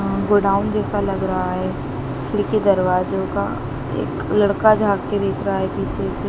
अं godown जैसा लग रहा है खिड़की दरवाजों का एक लड़का झांक के देख रहा है पीछे से--